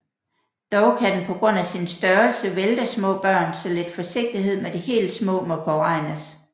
Dog kan den på grund af sin størrelse vælte små børn så lidt forsigtighed med de helt små må påregnes